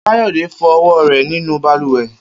Kayode fo ọwọ rẹ ninu balùwẹ